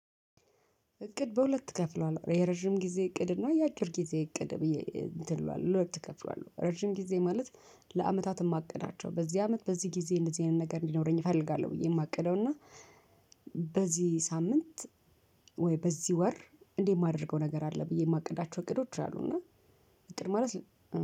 እቅድ በሁለት እከፍለዋለሁ የረዥም ጊዜ እቅድ እና የአጭር ጊዜ እቅድ ብዬ እንትን ለሁለት እከፍለዋለሁ። ረዥም ጊዜ ማለት ለአመታት የማቅዳቸው በዚህ አመት በዚህ ጊዜ እንደዚህ አይነት ነገር እንዲኖረኝ እፈልጋለሁ። ብዬ የማቅደው እና በዚህ ሳምንት ወይ በዚህ ወር እንዴት የማደርገው ነገር አለ። ብዬ የማቅዳቸው እቅዶች አሉ። እና እጥር ማለት